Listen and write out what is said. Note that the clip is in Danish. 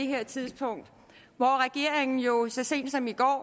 her tidspunkt for regeringen har jo så sent som i går